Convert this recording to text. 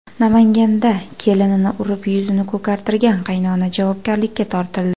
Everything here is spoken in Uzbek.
Namanganda kelinini urib, yuzini ko‘kartirgan qaynona javobgarlikka tortildi.